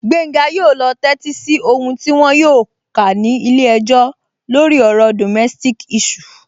Gbenga yóò lọ tẹ́tí sí ohùn tí wọn yóò kà ní ilé-ẹjọ́ lórí ọ̀rọ̀ domestic issue